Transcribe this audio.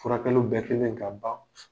Furakɛliw bɛɛ kɛlen ka ban